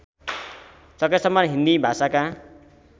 सकेसम्म हिन्दी भाषाका